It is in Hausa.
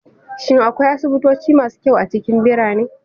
Shin akwai asibitoci masu kyau a cikin birane?